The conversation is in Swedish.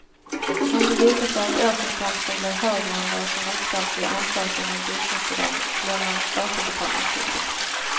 Om det visar sig att årsinkomsten blev högre än vad som uppgavs vid ansökan om bostadsbidrag blir man återbetalningsskyldig.